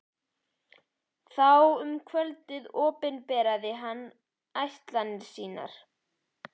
Strax þá um kvöldið opinberaði hann ætlan sína.